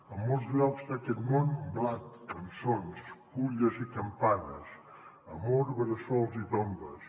en molts llocs d’aquest món blat cançons fulles i campanes amor bressols i tombes